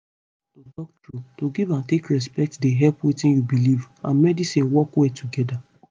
to talk truth to give and take respect dey help wetin u belief and medicine work well together